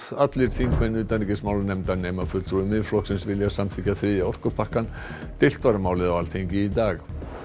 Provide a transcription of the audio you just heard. allir þingmenn utanríkismálanefndar nema fulltrúi Miðflokksins vilja samþykkja þriðja orkupakkann deilt var um málið á Alþingi í dag